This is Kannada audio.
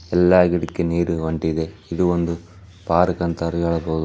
ಎಲ್ಲ ಗಿಡಕ್ಕೆ ನೀರು ಹೊಂಟಿದೆ ಇದು ಒಂದು ಪಾರ್ಕ್ ಅಂತ ಹೇಳಬಹುದು .